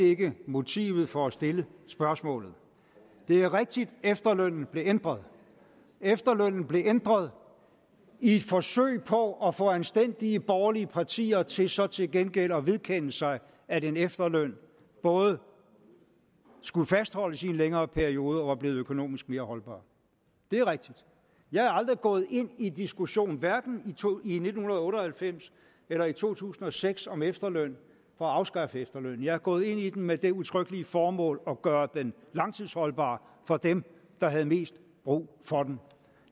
ikke motivet for at stille spørgsmålet det er rigtigt at efterlønnen blev ændret efterlønnen blev ændret i et forsøg på at få anstændige borgerlige partier til så til gengæld at vedkende sig at en efterløn både skulle fastholdes i en længere periode og var blevet økonomisk mere holdbar det er rigtigt jeg er aldrig gået ind i diskussionen hverken i nitten otte og halvfems eller i to tusind og seks om efterløn for at afskaffe efterløn jeg er gået ind i den med det udtrykkelige formål at gøre den langtidsholdbar for dem der havde mest brug for den